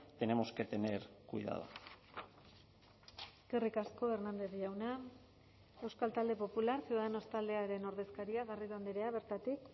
tenemos que tener cuidado eskerrik asko hernández jauna euskal talde popular ciudadanos taldearen ordezkaria garrido andrea bertatik